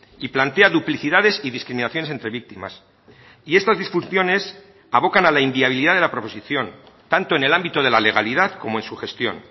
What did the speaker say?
y plantea duplicidades y discriminaciones entre víctimas y estas disfunciones abocan a la inviabilidad de la proposición tanto en el ámbito de la legalidad como en su gestión